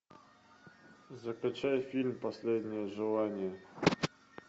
закачай фильм последнее желание